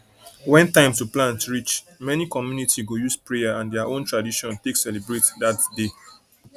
when time to plant reach many community go use prayer and their own tradition take celebrate dat day